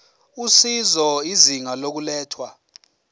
usizo izinga lokulethwa